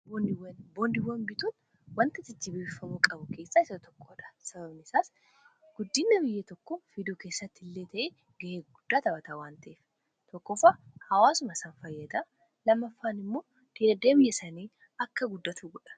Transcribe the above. boondiwwan bituun wanta jajjabeeffamuu qabu keessaa isa tokkodha sababni saas guddina biyya tokko fiduu keessatti illee ta'e ga'ee guddaa taphata waan ta'eef tokkoffaa hawaasuma san fayyada lamaffaan immoo diinagdee sanii akka guddatu godha.